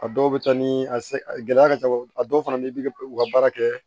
A dɔw bɛ taa ni a se gɛlɛya ka ca a dɔw fana ni bi u ka baara kɛ